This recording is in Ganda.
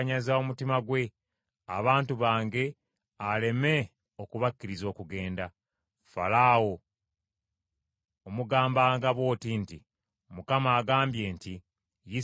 Falaawo omugambanga bw’oti nti, Mukama agambye nti, ‘Isirayiri mutabani wange, ye mwana wange omubereberye;